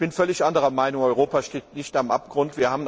Ich bin völlig anderer Meinung Europa steht nicht am Abgrund!